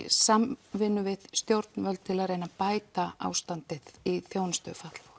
samvinnu við stjórnvöld til að reyna að bæta ástandið í þjónustu fatlaðs